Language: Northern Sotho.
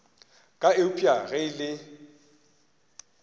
ka eupša ge e le